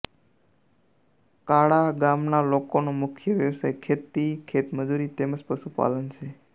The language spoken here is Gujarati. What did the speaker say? કાળા ગામના લોકોનો મુખ્ય વ્યવસાય ખેતી ખેતમજૂરી તેમ જ પશુપાલન છે